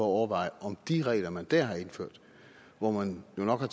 overveje om de regler man der har indført hvor man jo nok har